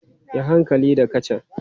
Yi hankali da kacan!